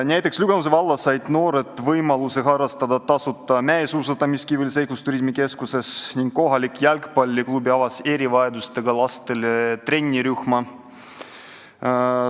Näiteks Lüganuse vallas said noored võimaluse tasuta harrastada mäesuusatamist Kiviõli Seiklusturismi Keskuses ning kohalik jalgpalliklubi avas erivajadustega lastele trennirühma.